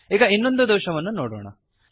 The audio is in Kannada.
ಈಗ ಇನ್ನೊಂದು ದೋಷವನ್ನು ನೋಡೋಣ